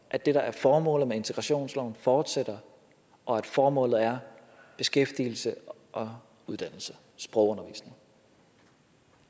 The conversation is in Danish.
at det der er formålet med integrationsloven fortsætter og at formålet er beskæftigelse og uddannelse sprogundervisning